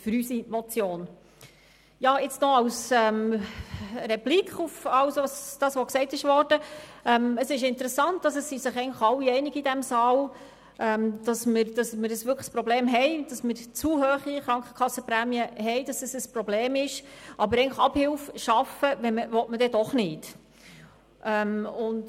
Nun noch eine Replik auf alles, was gesagt worden ist: Interessant ist, dass sich alle in diesem Saal darin einig sind, dass die zu hohen Krankenkassenprämien wirklich ein Problem sind, aber Abhilfe will man dann eigentlich doch nicht schaffen.